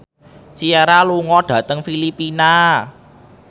Ciara lunga dhateng Filipina